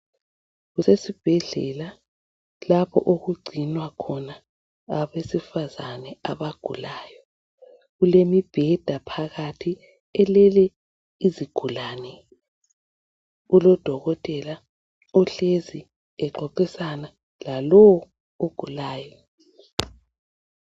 Kusesibhedlela lapho okugcinwa khona abesifazane abagulayo. Kulemibheda phakathi elele izigulane. Kulodokotela ohlezi exoxisana lalowo ogulayo.